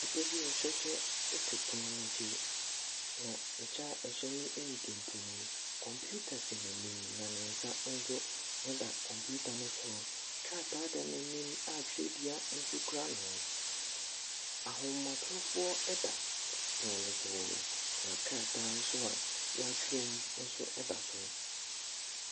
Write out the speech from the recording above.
Nipa bi a ɔhyɛ kyɛ te pono n’akyi, na kyɛ a ɛhyɛ no ɛyɛ tuntum. Computer si n’ani na ne nsa da computer ne so. Krataa da n’anim a twerɛdua no kura no, ahomatromfoɔ da pono ne so, na krataa nso a yɛatwerɛ mu nso da so.